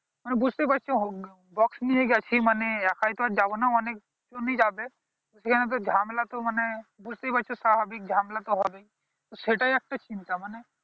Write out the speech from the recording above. মানে বুঝতেই পারছো box নিয়ে গেছি মানে একাই তো আর যাবো না অনেক জন ই যাবে সেই আমাদের ঝামেলা তো মানে বুঝতেই পারছো সারা দিক ঝামেলা তো হবেই তো সেটাই একটা চিন্তা মানে